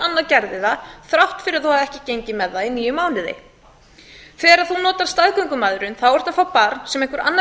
annar gerði það þrátt fyrir þó hann hefði ekki gengið með það í níu mánuði þegar þú notar staðgöngumæðrum þá ertu að fá barn sem einhver annar